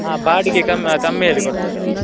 ಹಾ ಬಾಡಿಗೆ ಕಮ್ಮಿ, ಕಮ್ಮಿಯಲ್ಲಿ ಕೊಡ್ತಾರೆ ಅವ್ರು.